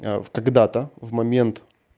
а в когда-то в момент